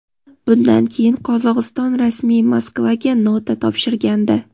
Bundan keyin Qozog‘iston rasmiy Moskvaga nota topshirgandi.